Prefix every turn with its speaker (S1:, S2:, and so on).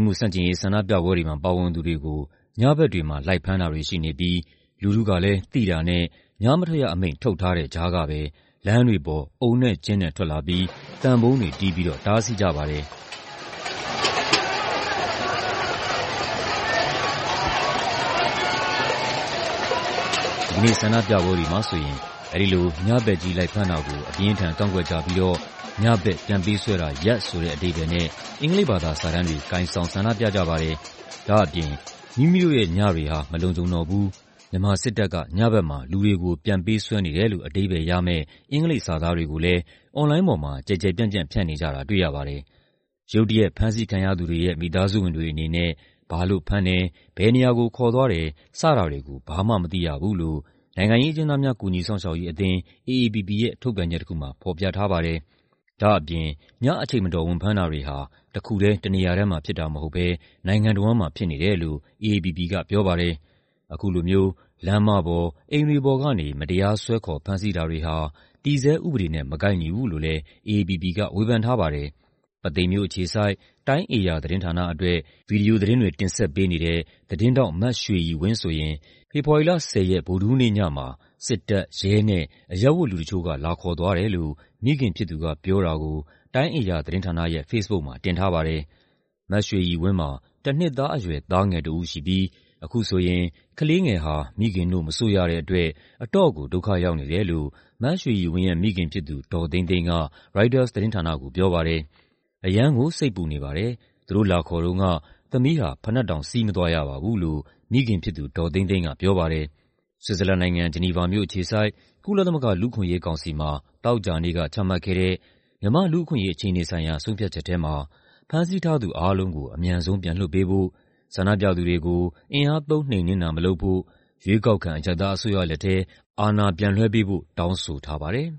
S1: မှု ဆန့်ကျင်ရေး ဆန္ဒပြပွဲတွေမှာ ပါဝင်သူတွေကို ညဘက်တွေမှာ လိုက်ဖမ်းတာတွေ ရှိနေပြီး လူထုကလည်း သိတာနဲ့ ညမထွက်ရအမိန့် ထုတ်ထားတဲ့ကြားကပဲ လမ်းတွေပေါ် အုံနဲ့ကျင်းနဲ့ ထွက်လာပြီး သံပုံးတွေတီးပြီးတော့ တားဆီးကြပါတယ်။ ဒီကနေ့ ဆန္ဒပြပွဲတွေမှာဆိုရင် အဲဒီလို ညဘက်ကြီး လိုက်ဖမ်းတာကို အပြင်းအထန် ကန့်ကွက်ကြပြီးတော့ "ညဘက် ပြန်ပေးဆွဲတာ ရပ်" ဆိုတဲ့ အဓိပ္ပါယ်နဲ့ အင်္ဂလိပ်ဘာသာစာတန်းတွေ ကိုင်ဆောင် ဆန္ဒပြကြပါတယ်။ ဒါ့အပြင် "မိမိတို့ရဲ့ ညတွေဟာ မလုံခြုံတော့ဘူး"၊ "မြန်မာစစ်တပ်က ညဘက်မှာ လူတွေကို ပြန်ပေးဆွဲနေတယ်" လို့ အဓိပ္ပါယ်ရတဲ့ အင်္ဂလိပ်စာသားတွေကိုလည်း အွန်လိုင်းပေါ်မှာ ကျယ်ကျယ်ပြန့်ပြန့် ဖြန့်နေကြတာ တွေ့ရပါတယ်။ ရုတ်တရက် ဖမ်းဆီးခံရသူတွေရဲ့ မိသားစုဝင်တွေအနေနဲ့ ဘာလို့ဖမ်းတယ်၊ ဘယ်နေရာကို ခေါ်သွားတယ်၊ စတာတွေကို ဘာမှမသိရဘူးလို့ နိုင်ငံရေးအကျဉ်းသားများ ကူညီစောင့်ရှောက်ရေးအသင်း (AAPP) ရဲ့ ထုတ်ပြန်ချက်တခုမှာ ဖော်ပြထားပါတယ်။ ဒါ့အပြင် ညအချိန်မတော် ဝင်ဖမ်းတာတွေဟာ တခုတည်း၊ တနေရာတည်းမှာ ဖြစ်တာမဟုတ်ဘဲ နိုင်ငံတဝန်းမှာ ဖြစ်နေတယ်လို့ AAPP က ပြောပါတယ်။ အခုလိုမျိုး လမ်းမပေါ်၊ အိမ်တွေပေါ်ကနေ မတရား ဆွဲခေါ် ဖမ်းဆီးတာတွေဟာ တည်ဆဲဥပဒေနဲ့ မကိုက်ညီဘူးလို့လည်း AAPP က ဝေဖန်ထားပါတယ်။ ပုသိမ်မြို့အခြေစိုက် တိုင်းဧရာသတင်းဌာနအတွက် ဗွီဒီယိုသတင်းတွေ တင်ဆက်ပေးနေတဲ့ သတင်းထောက် မရွှေရည်ဝင်းဆိုရင် ဖေဖော်ဝါရီလ ၁၀ ရက်၊ ဗုဒ္ဓဟူးနေ့ညမှာ စစ်တပ်၊ ရဲနဲ့ အရပ်ဝတ်လူတချို့က လာခေါ်သွားတယ်လို့ မိခင်ဖြစ်သူက ပြောတာကို တိုင်းဧရာသတင်းဌာနရဲ့ ဖေ့စ်ဘုတ်မှာ တင်ထားပါတယ်။ မရွှေရည်ဝင်းမှာ တနှစ်သားအရွယ် သားငယ်တဦးရှိပြီး အခုဆိုရင် ကလေးငယ်ဟာ မိခင်နို့ မစို့ရတဲ့အတွက် အတော့်ကို ဒုက္ခရောက်နေတယ်လို့ မရွှေရည်ဝင်းရဲ့ မိခင်ဖြစ်သူ ဒေါ်သိန်းသိန်းက ရိုက်တာသတင်းဌာနကို ပြောပါတယ်။ "အရမ်းကို စိတ်ပူနေပါတယ်၊ သူတို့လာခေါ်တုန်းက သမီးဟာ ဖိနပ်တောင် စီးမသွားရပါဘူး" လို့ မိခင်ဖြစ်သူ ဒေါ်သိန်းသိန်းက ပြောပါတယ်။ ဆွစ်ဇာလန်နိုင်ငံ၊ ဂျီနီဗာမြို့အခြေစိုက် ကုလသမဂ္ဂ လူ့အခွင့်အရေးကောင်စီမှာ သောကြာနေ့က ချမှတ်ခဲ့တဲ့ မြန်မာ့လူ့အခွင့်အရေး အခြေအနေဆိုင်ရာ ဆုံးဖြတ်ချက်ထဲမှာ ဖမ်းဆီးထားသူ အားလုံးကို အမြန်ဆုံး ပြန်လွှတ်ပေးဖို့၊ ဆန္ဒပြသူတွေကို အင်အားသုံး နှိမ်နင်းတာ မလုပ်ဖို့၊ ရွေးကောက်ခံ အရပ်သားအစိုးရလက်ထဲ အာဏာပြန်လွှဲပေးဖို့ တောင်းဆိုထားပါတယ်